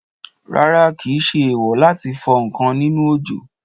Rárá, kìí ṣe èèwò láti fọ ǹkan nínú òjò